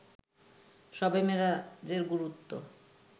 শবে মেরাজের গুরুত্ব